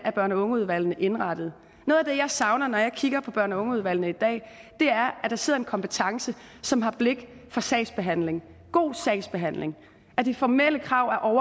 børn og unge udvalgene er indrettet noget af det jeg savner når jeg kigger på børn og unge udvalgene i dag er at der sidder en kompetence som har blik for sagsbehandling god sagsbehandling at de formelle krav